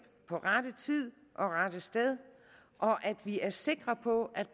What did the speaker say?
på rette tid og rette sted og at vi er sikre på at